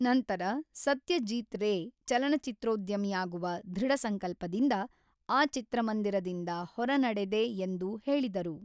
ನಂತರ ಸತ್ಯಜೀತ್ ರೇ ಚಲನಚಿತ್ರೋದ್ಯಮಿಯಾಗುವ ದೃಢಸಂಕಲ್ಪದಿಂದ ಆ ಚಿತ್ರಮಂದಿರದಿಂದ ಹೊರನಡೆದೆ ಎಂದು ಹೇಳಿದರು.